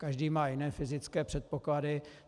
Každý má jiné fyzické předpoklady.